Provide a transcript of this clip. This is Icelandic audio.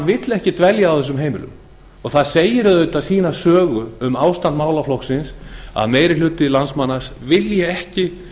vill ekki dvelja á þessum heimilum það segir auðvitað sína sögu um ástand málaflokksins að meiri hluti landsmanna vilji ekki